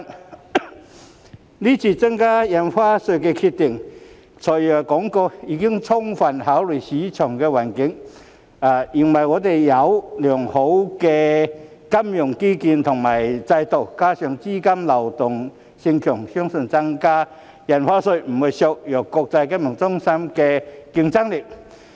對於這次增加印花稅的決定，"財爺"表示已充分考慮市場環境，認為我們有良好的金融基建和監管制度，加上資金流動性強，相信增加印花稅不會削弱國際金融中心的競爭力。